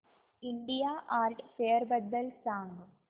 India art fair बद्दल सांग